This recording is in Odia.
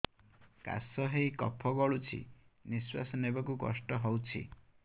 କାଶ ହେଇ କଫ ଗଳୁଛି ନିଶ୍ୱାସ ନେବାକୁ କଷ୍ଟ ହଉଛି